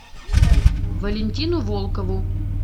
валентину волкову